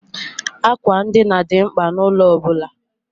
Àkwà ndina dị mkpa n'ụlọ ọ bụla.